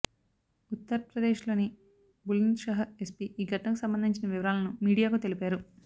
ఉత్తర్ప్రదేశ్ లోని బులంద్షహర్ ఎస్పీ ఈ ఘటనకు సంబంధించిన వివరాలను మీడియాకు తెలిపారు